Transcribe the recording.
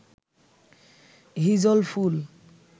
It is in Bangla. হিজল ফুল